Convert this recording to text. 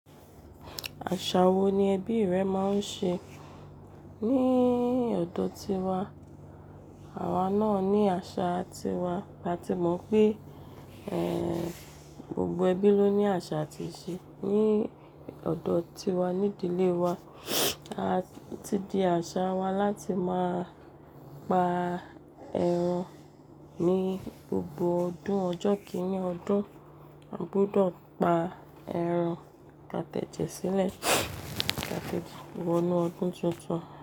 Àṣà wo ni ẹbí rẹ máa ń ṣe? Ni ọ̀dọ̀ ti wa, àwa náà ní àṣà ti wa, bá ti mọ̀ pé, eh, gbogbo ẹbí ló ní àṣà àti ìṣe. Ni ọ̀dọ̀ ti wa, ní ìdílé wa, a ti di àṣà wa láti máa pa ẹran ní gbogbo ọdún. Ọjọ́ kíní ọdún, a gbúdọ̀ pa ẹran pàtẹ́jẹ́ sílẹ̀, pàtẹ́jẹ́ wọnú ọdún tuntun.